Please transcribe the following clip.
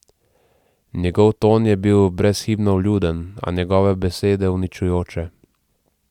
Njegov ton je bil brezhibno vljuden, a njegove besede uničujoče.